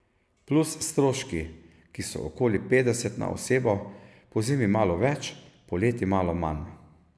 Plus stroški, ki so okoli petdeset na osebo, pozimi malo več, poleti malo manj.